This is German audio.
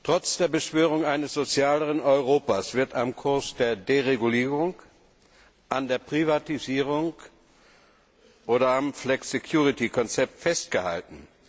Trotz der Beschwörung eines sozialeren Europas wird am Kurs der Deregulierung, an der Privatisierung oder am Flexicurity Konzept festgehalten.